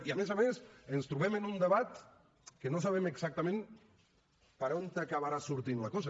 i a més a més ens trobem amb un debat que no sabem exactament per on acabarà sortint la cosa